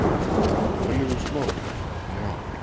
Örlygur Smári: Já.